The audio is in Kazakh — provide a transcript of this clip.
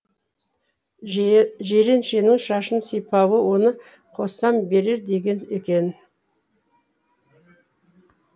жиреншенің шашын сипауы оны қоссам берер деген екен